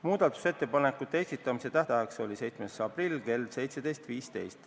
Muudatusettepanekute esitamise tähtajaks oli 7. aprill kell 17.15.